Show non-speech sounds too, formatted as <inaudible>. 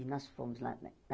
E nós fomos. <unintelligible>